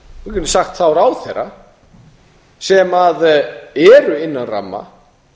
við getum sagt þá ráðherra sem eru innan ramma